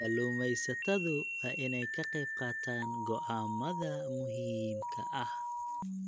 Kalluumaysatadu waa inay ka qayb qaataan go'aamada muhiimka ah.